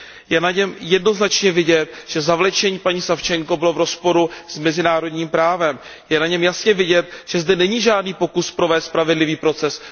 Je na něm jednoznačně vidět, že zavlečení paní Savčenkové bylo v rozporu s mezinárodním právem, je na něm jasně vidět, že zde není žádný pokus provést spravedlivý proces.